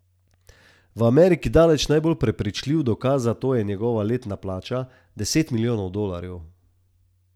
V Ameriki daleč najbolj prepričljiv dokaz za to je njegova letna plača, deset milijonov dolarjev.